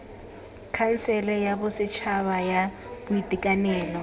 khansele ya bosetšhaba ya boitekanelo